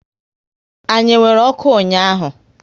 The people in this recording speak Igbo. Anyi e nwere ọkụ ụnyaahụ?